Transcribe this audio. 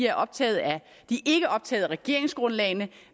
er optaget af regeringsgrundlagene